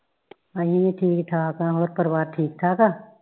ਅਹੀ ਠੀਕ ਠਾਕ ਆ ਹੋਰ ਪਰਿਵਾਰ ਠੀਕ ਠਾਕ ਆ